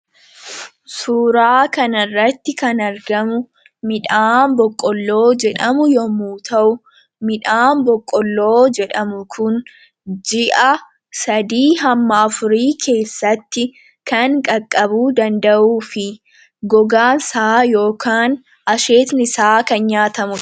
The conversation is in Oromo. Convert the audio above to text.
Suuraa kan irratti kan argamu, midhaan boqqolloo jedhamu yommu ta'u, midhaan boqqolloo jedhamu kun ji'a 3-4 keessatti kan qaqqabuu danda’uu fi gogaan isaa ykn asheenni isaa kan nyaatamudha.